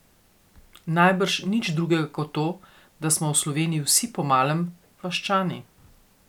Najbrž nič drugega kot to, da smo v Sloveniji vsi po malem vaščani.